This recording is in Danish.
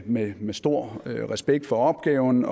med med stor respekt for opgaven